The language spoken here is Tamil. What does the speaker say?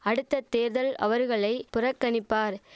அடுத்த தேர்தல் அவர்களை புறக்கணிப்பார்